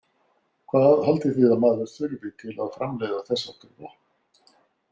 Hvað haldið þið að maður þurfi til að framleiða þess háttar vopn?